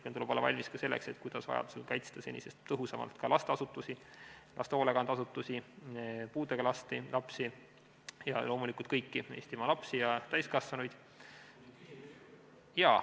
Meil tuleb olla valmis ka selleks, kuidas vajaduse korral kaitsta senisest tõhusamalt ka lasteasutusi, laste hoolekandeasutusi, puudega lapsi ja loomulikult kõiki Eestimaa lapsi ja täiskasvanuid.